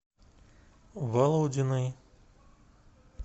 володиной